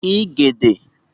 igede